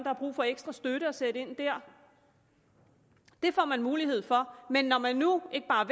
har brug for ekstra støtte og sætte ind der det får man mulighed for men når man nu ikke bare